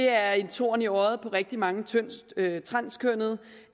er en torn i øjet på rigtig mange transkønnede og